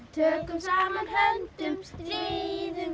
tökum saman höndum stríðum